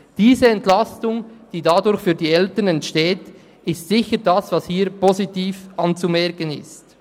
Diese Entlastung, die dadurch für die Eltern entsteht, ist sicher das, was hier positiv anzumerken ist.